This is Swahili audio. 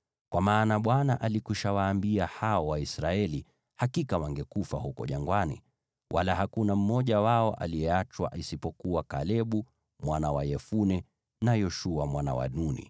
Kwa maana Bwana alikuwa amewaambia hao Waisraeli hakika wangekufa huko jangwani, wala hakuna mmoja wao aliyeachwa, isipokuwa Kalebu mwana wa Yefune na Yoshua mwana wa Nuni.